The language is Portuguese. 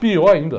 Pior ainda.